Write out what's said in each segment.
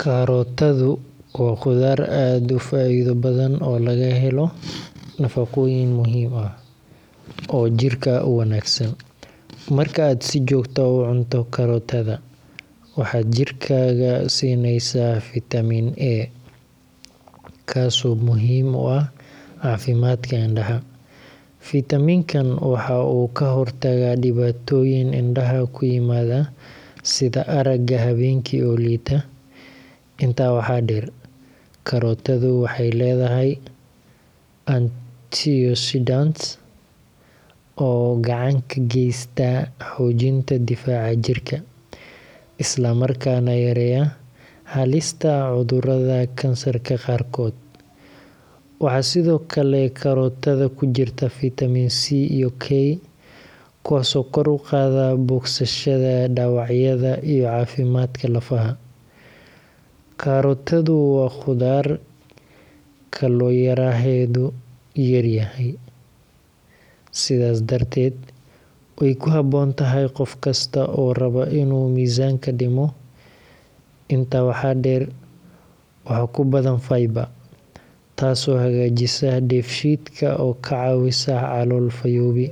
Karootadu waa khudaar aad u faa’iido badan oo laga helo nafaqooyin muhiim ah oo jirka u wanaagsan. Marka aad si joogto ah u cunto karootada, waxaad jirkaaga siinaysaa fiitamiin A, kaas oo muhiim u ah caafimaadka indhahaaga. Fiitamiin-kan waxa uu ka hortagaa dhibaatooyin indhaha ku yimaada sida aragga habeenkii oo liita. Intaa waxaa dheer, karootadu waxay leedahay antioxidants oo gacan ka geysta xoojinta difaaca jirka, isla markaana yareeya halista cudurrada kansarka qaarkood. Waxaa sidoo kale karootada ku jirta fiitamiin C iyo K, kuwaas oo kor u qaada bogsashada dhaawacyada iyo caafimaadka lafaha. Karootadu waa khudaar kalooriyaheedu yar yahay, sidaas darteed way ku habboon tahay qof kasta oo raba inuu miisaanka dhimo. Intaa waxaa dheer, waxaa ku badan fiber taasoo hagaajisa dheefshiidka oo kaa caawisa calool fayoobi.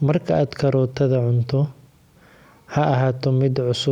Marka aad karootada cunto, ha ahaato mid cusub.